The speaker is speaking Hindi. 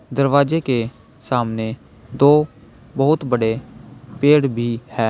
दरवाजे के सामने दो बहुत बड़े पेड़ भी है।